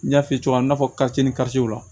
N y'a f'i ye cogo min na